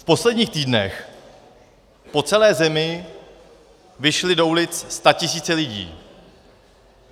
V posledních týdnech po celé zemi vyšly do ulic statisíce lidí.